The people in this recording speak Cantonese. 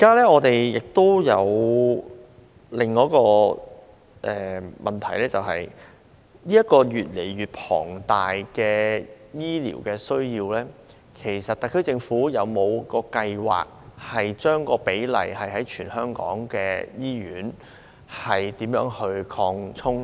我們現時有另一問題，就是面對越來越龐大的醫療需要，特區政府是否有計劃提高全港醫院的比例？